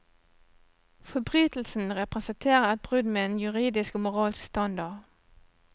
Forbrytelsen representerer et brudd med en juridisk og moralsk standard.